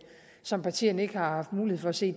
som partierne ikke har haft mulighed for at se